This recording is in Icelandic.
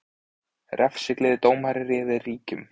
Refsigleði dómara réði ríkjum